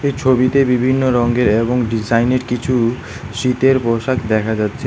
এই ছবিতে বিভিন্ন রঙের এবং ডিজাইনের কিছু শীতের পোশাক দেখা যাচ্ছে।